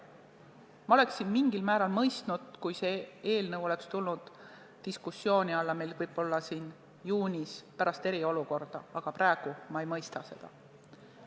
Ma oleksin mingil määral mõistnud, kui see oleks tulnud diskussiooni alla juunis, pärast eriolukorda, aga praegu ma ei mõista seda.